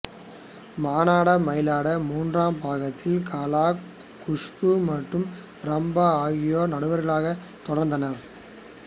மானாட மயிலாட மூன்றாம் பாகத்தில் கலா குஷ்பு மற்றும் ரம்பா ஆகியோரே நடுவர்களாகத் தொடர்ந்தனர்